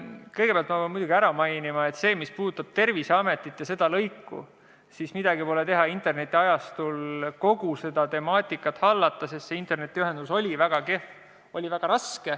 Kõigepealt ma pean muidugi mainima, et see, mis puudutab Terviseametit ja seda lõiku – midagi pole teha, internetiajastul kogu seda temaatikat hallata oli väga raske, sest internetiühendus oli väga kehv.